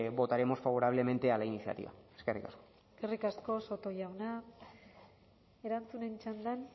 votaremos favorablemente a la iniciativa eskerrik asko eskerrik asko soto jauna erantzunen txandan